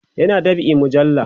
yana dab'in mujalla